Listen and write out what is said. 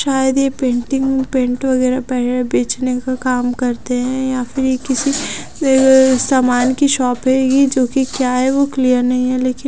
शायद ये painting paint वगैरा है बेचने का काम करते हैं या फिर ये किसी अअ सामान की शॉप है यह जो की क्या है वो क्लियर नहीं है लेकिन--